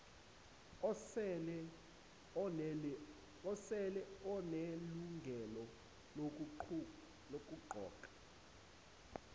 osele enelungelo lokuqoka